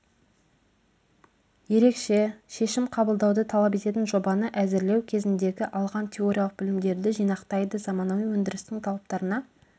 ерекше шешім қабылдауды талап ететін жобаны әзірлеу кезіндегі алған теориялық білімдерді жинақтайды заманауи өндірістің талаптарына